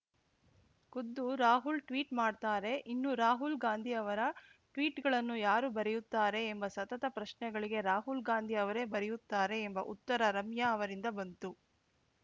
ಖುದ್ದು ರಾಹುಲ್‌ ಟ್ವೀಟ್‌ ಮಾಡ್ತಾರೆ ಇನ್ನು ರಾಹುಲ್‌ ಗಾಂಧಿ ಅವರ ಟ್ವೀಟ್‌ಗಳನ್ನು ಯಾರು ಬರೆಯುತ್ತಾರೆ ಎಂಬ ಸತತ ಪ್ರಶ್ನೆಗಳಿಗೆ ರಾಹುಲ್‌ ಗಾಂಧಿ ಅವರೇ ಬರೆಯುತ್ತಾರೆ ಎಂಬ ಉತ್ತರ ರಮ್ಯಾ ಅವರಿಂದ ಬಂತು